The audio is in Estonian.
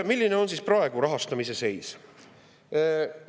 Milline on praegu rahastamise seis?